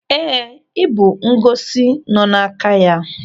Éè, ibu ngosi nọ n'aka ya.